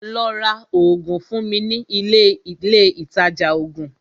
Lọ́ rá oògùn fún mi ní ilé Ilé ìtajà oògùn!